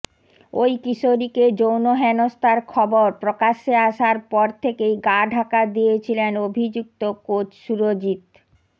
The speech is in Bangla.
ওই কিশোরীকে যৌন হেনস্থার খবর প্রকাশ্যে আসার পর থেকেই গা ঢাকা দিয়েছিলেন অভিযুক্ত কোচ সুরজিৎ